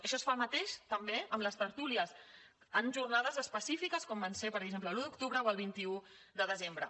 això es fa el mateix també amb les tertúlies en jornades específiques com van ser per exemple l’un d’octubre o el vint un de desembre